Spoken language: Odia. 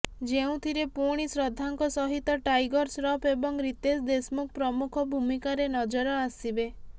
ଯେଉଁଥିରେ ପୁଣି ଶ୍ରଦ୍ଧାଙ୍କ ସହିତ ଟାଇଗର ଶ୍ରଫ ଏବଂ ରିତେଶ ଦେଶମୁଖ ପ୍ରମୁଖ ଭୂମିକାରେ ନଜର ଆସିବେ